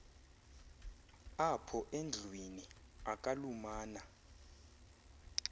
apho endlwini akalumana